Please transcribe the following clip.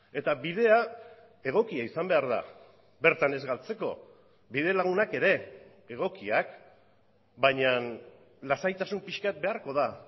eta bidea egokia izan behar da bertan ez galtzeko bidelagunak ere egokiak baina lasaitasun pixka bat beharko da